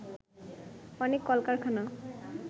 অনেক কলকারখানা